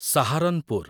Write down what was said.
Saharanpur